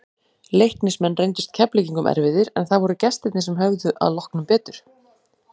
Leiknismenn reyndust Keflvíkingum erfiðir, en það voru gestirnir sem höfðu að lokum betur.